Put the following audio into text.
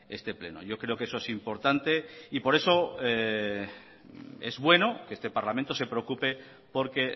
este pleno yo creo que eso es importante y por eso es bueno que este parlamento se preocupe porque